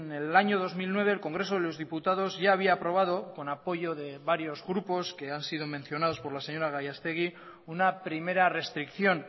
el año dos mil nueve el congreso de los diputados ya había aprobado con apoyo de varios grupos que han sido mencionados por la señora gallastegui una primera restricción